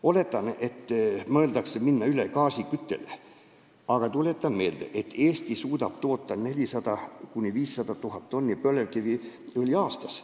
Oletan, et mõeldakse minna üle gaasiküttele, aga tuletan meelde, et Eesti suudab toota 400 000 – 500 000 tonni põlevkiviõli aastas.